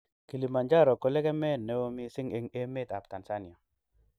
Kilimanjaro ko lekemee ne oo mising eng emet ab Tanzania.